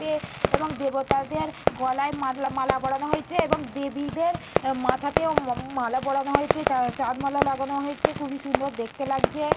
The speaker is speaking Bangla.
তে এবং দেবতাদের গলার মালা মালা পরানো হয়েছে। এবং দেবীদের মাথাতেও উ মা মালা পরানো হয়েছে। চাঁ চাঁদ মালা লাগানো হয়েছে। খুবই সুন্দর দেখতে লাগছে-এ।